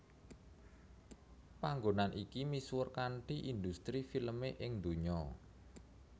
Panggonan iki misuwur kanthi industri filme ing donya